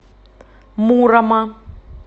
мурома